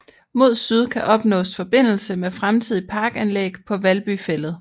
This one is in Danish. Mod Syd kan opnaas Forbindelse med fremtidige Parkanlæg paa Valby Fælled